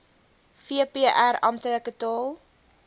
vpr amptelike taal